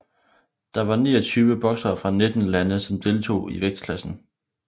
Der var niogtyve boksere fra nitten lande som deltog i vægtklassen